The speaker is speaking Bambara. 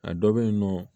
A dɔ bɛ yen nɔ